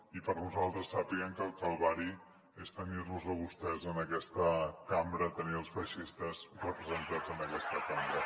i per nosaltres sàpiguen que el calvari és tenir los a vostès en aquesta cambra tenir els feixistes representats en aquesta cambra